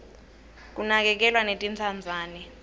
kinakerglwa netintsandzane